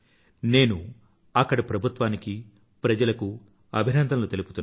నేను అక్కడి ప్రభుత్వానికీ ప్రజలకూ అభినందనలు తెలుపుతున్నాను